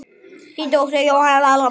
Þín dóttir Jóhanna Inga.